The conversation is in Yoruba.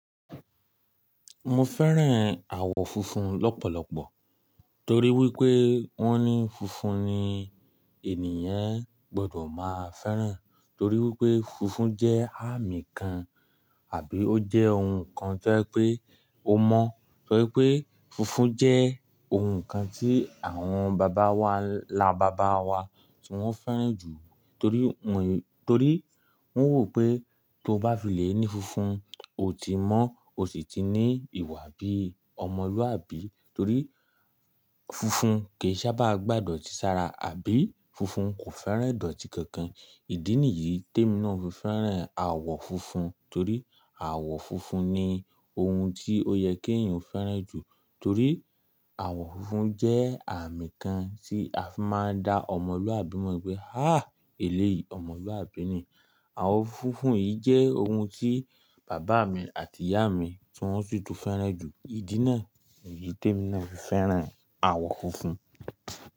Mo fẹ́ràn àwọ̀ funfun lọ́pọ̀lọpọ̀ torí wípé wón ní funfun ni ènìyàn gbọ́dọ̀ máa fẹ́ràn torí wípé funfun jẹ́ àmì kan àbí ó jẹ́ ohun kan tó ń jẹ́ pé o mọ̀. Torí pé funfun jẹ́ ohun kan tí àwọn bàbá wa, labàbá wa tí wón fẹ́ràn jù torí wọ́n, torí wọ́n wo pé tó bá filé ní funfun, o ti mọ́, o sì ti ní ìwà bí ọmọlúwàbí torí funfun kì í sábà gbà dọ̀tí sára àbí funfun kò fẹ́ràn idoti kankan. Ìdí nìyí tí èmi náà fi fẹ́ràn àwọ̀ funfun torí àwọ̀ funfun ni ohun tí ó yẹ kí èèyàn fẹ́ràn jù torí àwọ̀ funfun jẹ́ àmì kan tí a fi máa ń da ọmọlúwàbí mọ̀ wípé "háá! Èléyìí ọmọlúwàbí ni". Àwọ̀ funfun yìí jẹ́ ohun tí bàbá mi àti ìyá mi tí wón si tun fẹ́ràn jù. Ìdí náà ni èyí tí èmi náà fi fẹ́ràn àwọ̀ funfun.